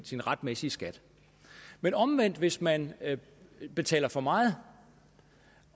retsmæssige skat men omvendt hvis man betaler for meget